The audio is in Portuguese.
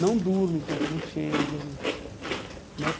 Não durmo enquanto não chegam né.